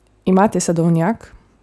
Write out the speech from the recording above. Imate sadovnjak?